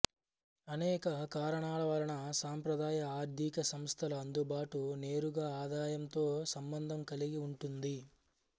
అనేక కారణాలవలన సాంప్రదాయ ఆర్ధిక సంస్థల అందుబాటు నేరుగా ఆదాయంతో సంబంధం కలిగి ఉంటుంది